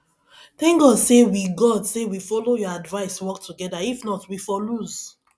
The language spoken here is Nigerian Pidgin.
thank god say we god say we follow your advice work together if not we for lose